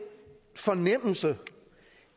fornemmelse